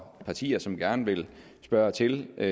partier som gerne vil spørge til det